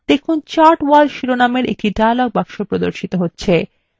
দেখুন chart wall শিরোনামের একটি dialog box প্রদর্শিত হচ্ছে